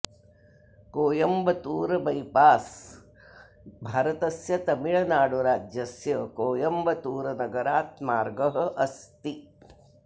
Coimbatore bypass भारतस्य तमिळुनाडु राज्यस्य कोयम्बत्तूर् नगरात् मार्गः अस्ति